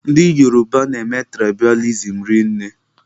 Ndị Yoruba na-eme tụraịbalizim rinne.